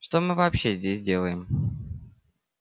что мы вообще здесь делаем